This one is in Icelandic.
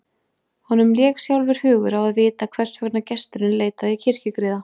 Honum lék sjálfum hugur á að vita hvers vegna gesturinn leitaði kirkjugriða.